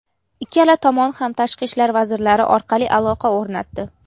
Ikkala tomon ham tashqi ishlar vazirlari orqali aloqa o‘rnatdi.